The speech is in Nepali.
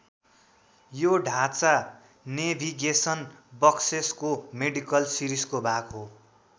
यो ढाँचा नेभिगेसन बक्सेसको मेडिकल सिरिजको भाग हो।